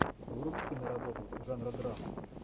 вруби киноработу жанра драма